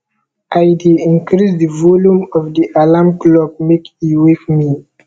i dey increase di volume of di alarm clock make e wake me